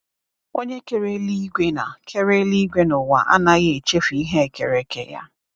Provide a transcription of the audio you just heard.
Onye kere eluigwe na kere eluigwe na ụwa anaghị echefu ihe e kere eke Ya.